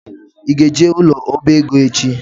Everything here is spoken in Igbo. Ị ga-eje ụlọ ọbaego echi?